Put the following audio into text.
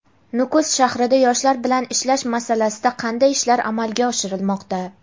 Nukus shahrida yoshlar bilan ishlash masalasida qanday ishlar amalga oshirilmoqda?.